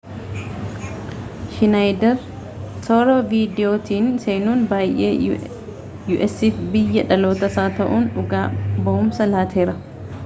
shinaayider toora viidiyootiin seenuun waayee usaf biyya dhalootaasaa taa'uun dhugaa bawumsa laateera